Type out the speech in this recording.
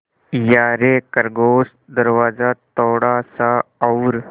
यारे खरगोश दरवाज़ा थोड़ा सा और